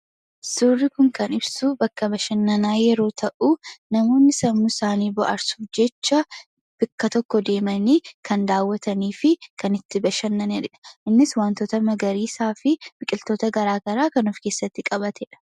Suurri kun kan ibsu bakka bashannanaa yeroo ta'u, namoonni sammuu isaanii bohaarsuuf jecha bakka tokko deemanii kan daawwatanii fi kan itti bashannaniidha. Innis wantoota magariisaa fi biqiltoota garaa garaa kan of keessatti qabateedha.